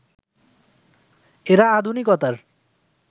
এরা আধুনিকতার